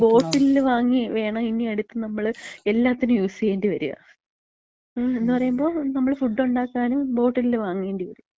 ബോട്ടിലില് വാങ്ങി വേണം നമ്മള് എല്ലാത്തിനും യൂസെയ്യേണ്ടി വരാ. മ്, എന്ന്പറയുമ്പം നമ്മള് ഫുഡൊണ്ടാക്കാനും ബോട്ടിൽല് വാങ്ങേണ്ടിവരും.